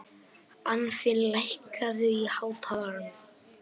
Anfinn, lækkaðu í hátalaranum.